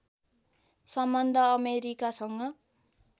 सम्बन्ध अमेरिकासँग